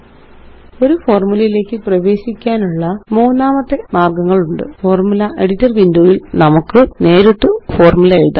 ഒരു ഫോര്മുലയിലേയ്ക്ക് പ്രവേശിക്കാനുള്ള മൂന്നാമത്തെ മാര്ഗ്ഗങ്ങളുണ്ട് ഫോർമുല എഡിറ്റർ windowയില് നമുക്ക് നേരിട്ട് ഒരു ഫോര്മുല എഴുതാം